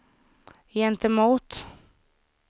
gentemot